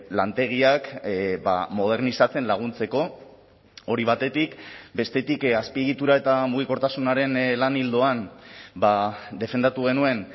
lantegiak modernizatzen laguntzeko hori batetik bestetik azpiegitura eta mugikortasunaren lan ildoan defendatu genuen